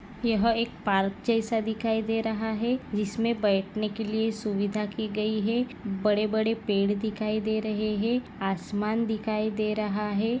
यह एक पार्क जैसा कुछ दिखाई दे रहा है इसमे बैठने के लिए सुविधा की गई है बड़े बड़े पेड़ दिखाई दे रहै है आसमान दिखाई दे रहा है।